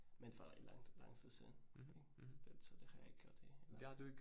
Men for rigtig lang lang tid siden ik, så det har jeg ikke gjort det i